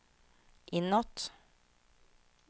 inåt